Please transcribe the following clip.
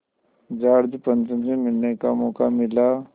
George Pancham से मिलने का मौक़ा मिला